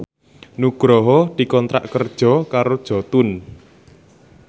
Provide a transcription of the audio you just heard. Nugroho dikontrak kerja karo Jotun